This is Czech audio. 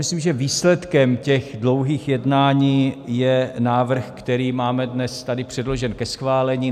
Myslím, že výsledkem těch dlouhých jednání je návrh, který máme dnes tady předložen ke schválení.